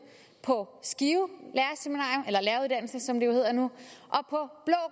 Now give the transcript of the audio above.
på skive som det jo hedder nu